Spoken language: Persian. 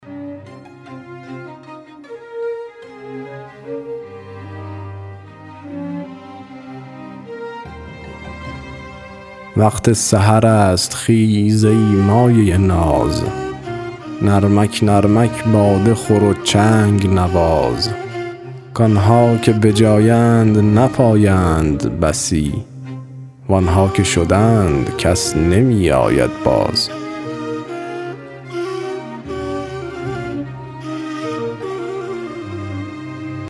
وقت سحر است خیز ای مایه ناز نرمک نرمک باده خور و چنگ نواز کآنها که به جایند نپایند بسی وآنها که شدند کس نمی آید باز